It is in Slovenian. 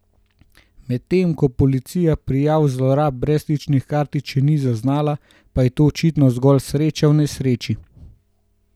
Medtem ko policija prijav zlorab brezstičnih kartic še ni zaznala, pa je to očitno zgolj sreča v nesreči.